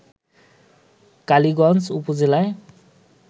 কালিগঞ্জ উপজেলায়